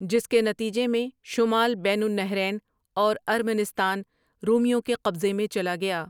جس کے نتیجہ میں شمال بین النہرین اور ارمنستان رومیوں کے قبضے میں چلا گیا۔